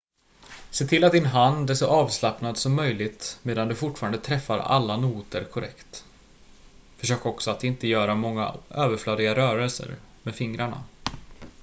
se till att din hand är så avslappnad som möjligt medan du fortfarande träffar alla noter korrekt försök också att inte göra många överflödiga rörelser med fingrarna